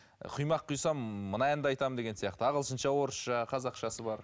құймақ құйсам мына әнді айтамын деген сияқты ағылшынша орысша қазақшасы бар